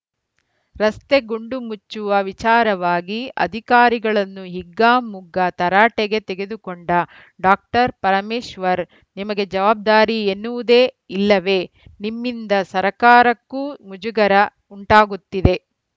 ರಸ್ತೆ ಗುಂಡು ಮುಚ್ಚುವ ವಿಚಾರವಾಗಿ ಅಧಿಕಾರಿಗಳನ್ನು ಹಿಗ್ಗಾಮುಗ್ಗಾ ತರಾಟೆಗೆ ತೆಗೆದುಕೊಂಡ ಡಾಕ್ಟರ್ ಪರಮೇಶ್ವರ್‌ ನಿಮಗೆ ಜವಾಬ್ದಾರಿ ಎನ್ನುವುದೇ ಇಲ್ಲವೇ ನಿಮ್ಮಿಂದ ಸರ್ಕಾರಕ್ಕೂ ಮುಜುಗರ ಉಂಟಾಗುತ್ತಿದೆ